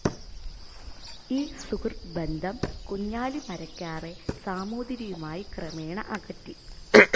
ഈ സുഹൃദ്ബന്ധം കുഞ്ഞാലി മരക്കാറെ സാമൂതിരിയുമായി ക്രമേണ അകറ്റി.